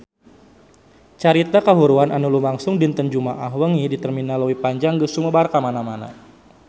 Carita kahuruan anu lumangsung dinten Jumaah wengi di Terminal Leuwi Panjang geus sumebar kamana-mana